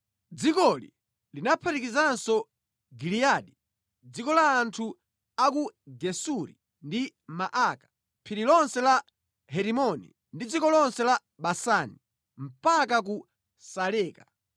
Dzikoli linaphatikizanso Giliyadi, dziko la anthu a ku Gesuri ndi Maaka, phiri lonse la Herimoni ndi dziko lonse la Basani mpaka ku Saleka.